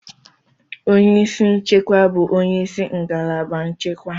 Onye isi nchekwa bụ onye isi ngalaba nchekwa.